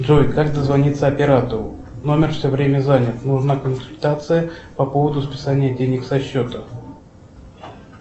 джой как дозвониться оператору номер все время занят нужна консультация по поводу списания денег со счета